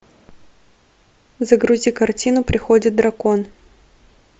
загрузи картину приходит дракон